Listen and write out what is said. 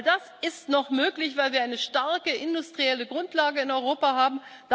All das ist noch möglich, weil wir eine starke industrielle Grundlage in Europa haben.